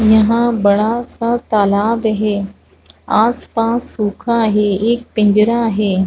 यहां बड़ा सा तालाब है आसपास सुखा है एक पिंजरा है।